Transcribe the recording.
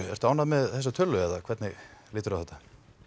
ertu ánægð með þessa tölu eða hvernig líturðu á þetta